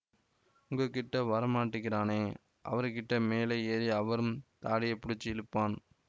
உங்ககிட்ட வரமாட்டக்கிறானே அவருக்கிட்ட மேலே ஏறி அவரு தாடியை புடிச்சி இழுப்பான்